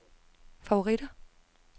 favoritter